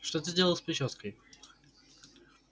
что ты сделал с причёской